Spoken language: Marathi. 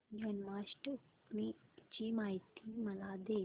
जन्माष्टमी ची माहिती मला दे